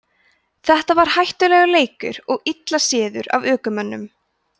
þetta var hættulegur leikur og illa séður af ökumönnum